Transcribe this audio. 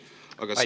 Aitäh!